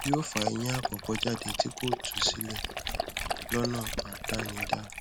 yóò fa eyín àkọkọ jáde tí kò tú sílẹ lọnà àdánidá